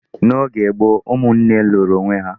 N',oge gboo, ụmụnne lụrụ onwé há.